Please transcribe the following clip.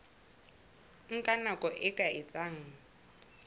nka nako e ka etsang